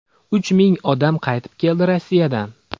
Uch ming odam qaytib keldi Rossiyadan.